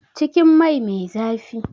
Cikin mai me zafi